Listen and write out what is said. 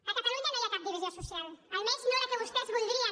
a catalunya no hi ha cap divisió social almenys no la que vostès voldrien